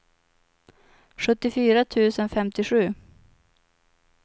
sjuttiofyra tusen femtiosju